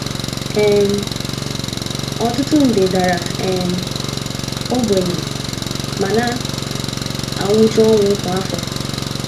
um Ọtụtụ nde dara um ogbenye ma na - anwụchu ọnwụ kwa afọ.